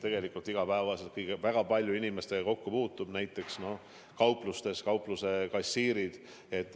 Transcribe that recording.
Paljud puutuvad seal iga päev väga palju inimestega kokku, näiteks kaupluste kassiirid.